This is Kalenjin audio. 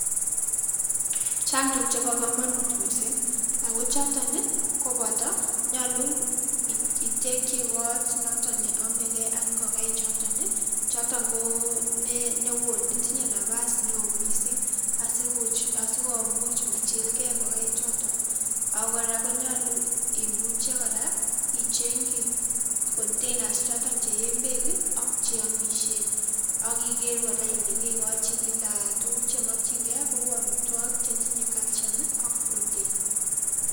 Chang tuguuk chebo kamanut mising ak choton koboto, nyolun itekchi kot noto ne amakei ak ingokaik chotok, chotok ko neu netinyei nafas neo mising asikomuch machilkei ngokaik chotok ako kora imuche konyolu ichengchi containers choton che een beek ak cheamishen akikeer ile kekochin kila tuguuk chemakchinkei kou amitwokik chetinyei calcium ak protein.